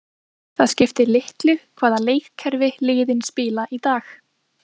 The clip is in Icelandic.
Það skiptir litlu hvaða leikkerfi liðin spila í dag.